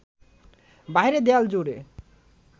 বাইরের দেয়াল জুড়ে